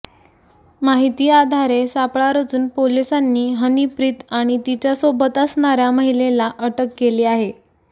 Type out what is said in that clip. माहितीआधारे सापळा रचून पोलिसांनी हनीप्रीत आणि तिच्या सोबत असणाऱ्या महिलेला अटक केली आहे